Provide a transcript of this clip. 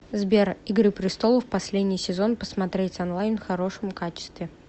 сбер игры престолов последний сезон посмотреть онлайн в хорошем качестве